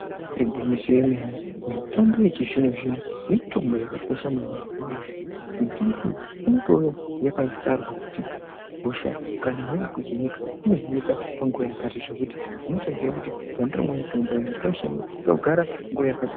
Imbari gwinyiso yomene mitombo yechizvino zvino mitombo yakakosha maningi ngenya yekuti mitombo iyi inotouya yakatarwa kuti hosha kana yakuhinika inohinika nguwa yakati zvekuti unotodziya kuti pandinomwe mutombo iyi ndinode kusha kugare nguwa yakadini.